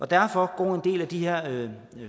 derfor går en del af de her